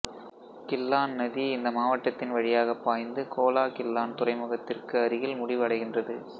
Klang நதி இந்த மாவட்டத்தின் வழியாகப் பாய்ந்து கோலா கிள்ளான் துறைமுகத்திற்கு அருகில் முடிவு அடைகின்றது